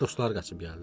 Dostları qaçıb gəldilər.